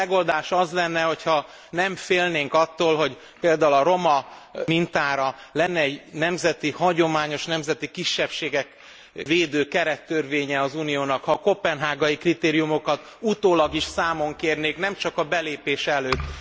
A megoldás az lenne, hogy ha nem félnénk attól, hogy például a roma mintára lenne egy nemzeti hagyományos, nemzeti kisebbségeket védő kerettörvénye az Uniónak és ha a koppenhágai kritériumokat utólag is számon kérnék, nem csak a belépés előtt.